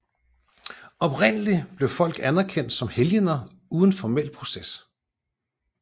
Oprindeligt blev folk anerkendt som helgener uden formel proces